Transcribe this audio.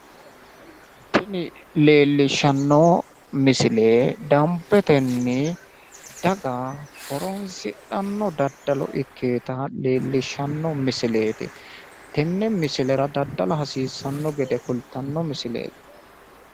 Tini leellishshanno misile danbetenni daga horonsidhanno daddalo ikkinota leellishshanno misileeti. tenne misilera daddala hasiissanno gede kulttanno misileeti.